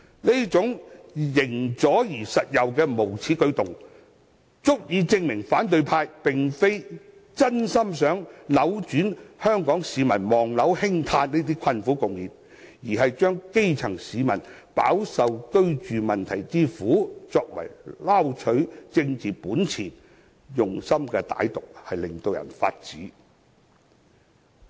這種"形左實右"的無耻舉動，足以證明反對派並非真心想扭轉香港市民"望樓興嘆"的困苦局面，而是要利用基層市民飽受居住問題之苦，撈取政治本錢，用心之歹毒實在令人髮指。